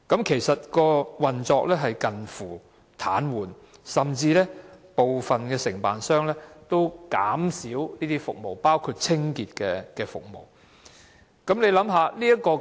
其實，新法團的運作已近乎癱瘓，部分承辦商甚至減少提供服務，包括清潔服務。